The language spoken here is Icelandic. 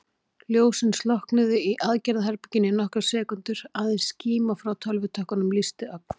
Ljósin slokknuðu í aðgerðaherberginu í nokkrar sekúndur, aðeins skíma frá tölvutökkunum lýsti ögn.